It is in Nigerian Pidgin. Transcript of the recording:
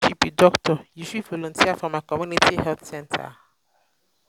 if you be doctor you fit um volunteer for my community health center.